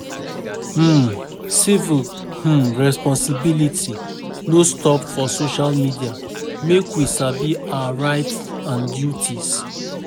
um Civic um responsibility no stop for social media, make we sabi our rights and duties.